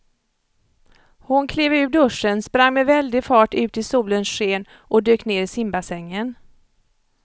Hon klev ur duschen, sprang med väldig fart ut i solens sken och dök ner i simbassängen.